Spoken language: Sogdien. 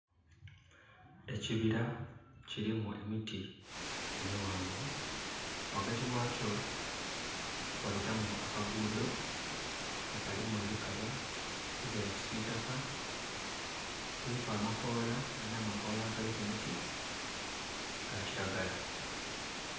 Ekibira kirimu emiti emighanvu. Ghagati ghakyo ghabitamu akagudho nga kalimu ebikaba ebya kisitaka, kuliku amakola nga na amakola agali ku miti ga kilagala.